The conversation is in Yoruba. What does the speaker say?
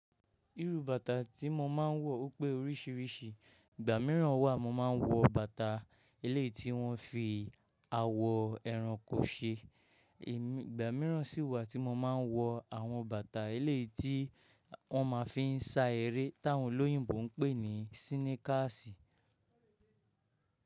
Irú bàtà tí mo máa ń wọ pé oríṣiríṣi. Ìgbà míràn wà mo ma ń wọ bàtà elé tí wọ́n fi awọ ẹrankọ ṣe, Ìgbà míràn si wà tí mo ma ń wọ àwọn bàtà elé tí wọ́n ma fi ń sa eré táwọn olóyìnbó ń pè ní síníkàsì.